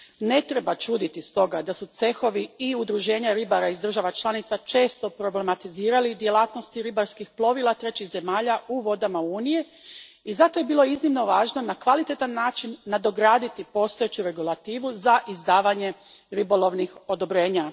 Ne treba čuditi stoga da su cehovi i udruženja ribara iz država članica često problematizirali djelatnost ribarskih plovila trećih zemalja u vodama Unije i zato je bilo iznimno važno na kvalitetan način nadograditi postojeću regulativu za izdavanje ribolovnih odobrenja.